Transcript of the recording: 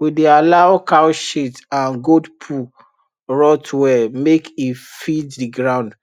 we dey allow cow shit and goat poo rot well make e feed the ground